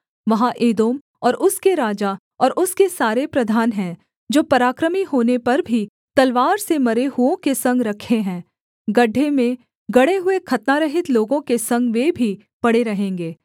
वहाँ एदोम और उसके राजा और उसके सारे प्रधान हैं जो पराक्रमी होने पर भी तलवार से मरे हुओं के संग रखे हैं गड्ढे में गड़े हुए खतनारहित लोगों के संग वे भी पड़े रहेंगे